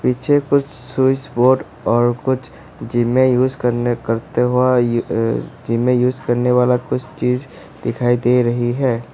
पीछे कुछ switch board और कुछ जिम में यूज करने करते वा जिम में यूज करने वाला कुछ चीज दिखाई दे रही है।